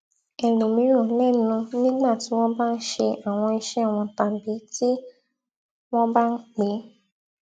ẹlòmíràn lẹnu nígbà tí wón bá ń ṣe àwọn iṣẹ wọn tàbí tí wón bá ń pè